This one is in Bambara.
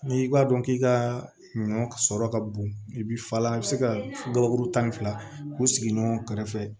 N'i b'a dɔn k'i ka ɲɔ sɔrɔ ka bon i bi falan i bɛ se ka gabakuru tan ni fila k'u sigi ɲɔgɔn kɛrɛfɛ